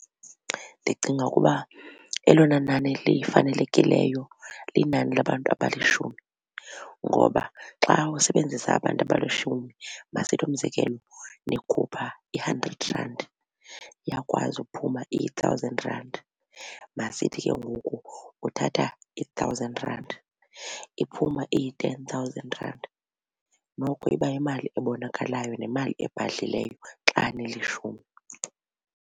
Ndicinga ukuba elona nani lifanelekileyo linani labantu abalishumi ngoba xa usebenzisa abantu abalishumi masithi umzekelo nikhupha i-hundred randi, iyakwazi uphuma i-thousand randi. Masithi ke ngoku uthatha i-thousand rand iphuma iyi-ten thousand randi. Noko iba yimali ebonakalayo nemali ebhadlileyo xa nilishumi.